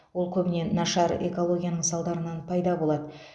ол көбіне нашар экологияның салдарынан пайда болады